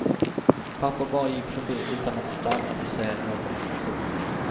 Pappa bara gick förbi utan att stanna eller säga något. punkt